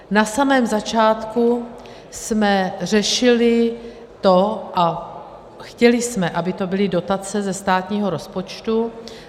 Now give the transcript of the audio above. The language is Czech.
Na samém začátku jsme řešili to a chtěli jsme, aby to byly dotace ze státního rozpočtu.